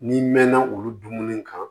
N'i mɛnna olu dumuni kan